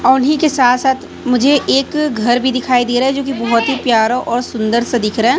औ उन्ही के साथ साथ मुझे एक घर भी दिखाई दे रहा है जो की बहोत ही प्यारा और सुंदर सा दिख रहा है।